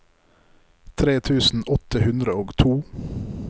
tre tusen åtte hundre og to